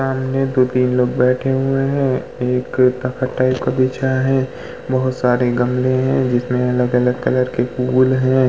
सामने दोतीन लोग बैठे हुए हैं। एक तख़्त टाइप का बिछा है। बहोत सारे गमले हैं जिसमे अलग-अलग कलर के फूल हैं।